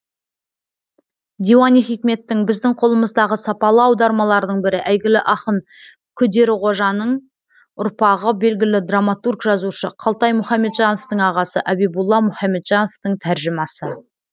диуани хикметтің біздің қолымыздағы сапалы аудармалардың бірі әйгілі ақын күдеріқожаның ұрпағы белгілі драматург жазушы қалтай мұхамеджановтың ағасы әбибулла мұхамеджановтың тәржімасы